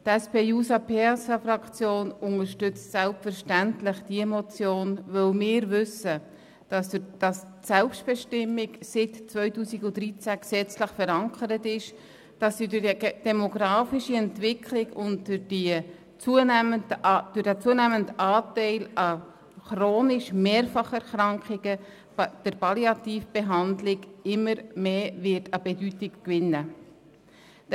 Die SP-JUSO-PSA-Fraktion unterstützt selbstverständlich diese Motion, weil wir wissen, dass die Selbstbestimmung seit dem Jahr 2013 gesetzlich verankert ist, und dass durch die demografische Entwicklung sowie durch den zunehmenden Anteil von chronischen Mehrfacherkrankungen die Palliativbehandlung immer mehr an Bedeutung gewinnen wird.